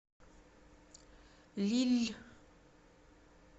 лилль